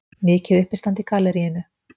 Mikið uppistand í galleríinu.